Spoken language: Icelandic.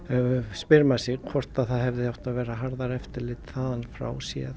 spyr maður sig hvort það hafi átt að vera harðara eftirlit þaðan frá séð